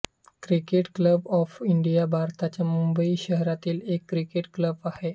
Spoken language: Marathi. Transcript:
क्रिकेट क्लब ऑफ इंडिया भारताच्या मुंबई शहरातील एक क्रिकेट क्लब आहे